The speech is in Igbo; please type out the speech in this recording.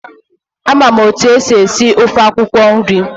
Ama m otu esi esi ofe akwụkwọ nri.